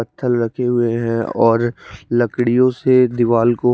पत्थर रखे हुए है और लकडियो से दीवाल को--